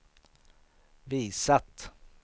visat